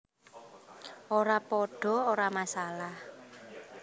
Ora padha ora masalah